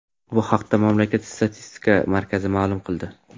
Bu haqda mamlakat statistika markazi ma’lum qildi .